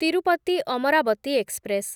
Tirupati Amaravati express